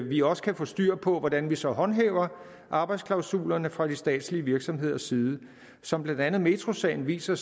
vi også kan få styr på hvordan vi så håndhæver arbejdsklausulerne fra de statslige virksomheders side som blandt andet metrosagen viser